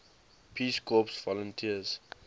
peace corps volunteers